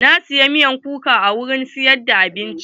Na siyi miyar kuka a wurin siyar da abinci.